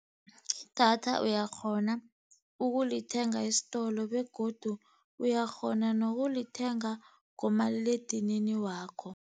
Idatha uyakghona ukulithenga isitolo, begodu uyakghona nokulithenga ngomaliledinini wakho.